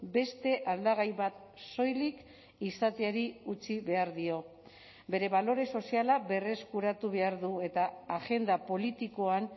beste aldagai bat soilik izateari utzi behar dio bere balore soziala berreskuratu behar du eta agenda politikoan